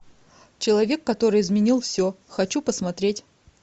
человек который изменил все хочу посмотреть